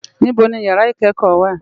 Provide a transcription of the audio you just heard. Nibò ni ìyàrá ikèékò wá?